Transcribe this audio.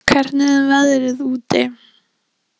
Náð, hvernig er veðrið úti?